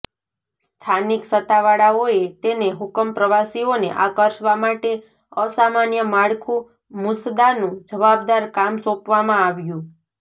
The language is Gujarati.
સ્થાનિક સત્તાવાળાઓએ તેને હુકમ પ્રવાસીઓને આકર્ષવા માટે અસામાન્ય માળખું મુસદ્દાનું જવાબદાર કામ સોંપવામાં આવ્યું